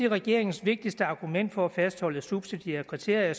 regeringens vigtigste argument for at fastholde subsidiære kriterier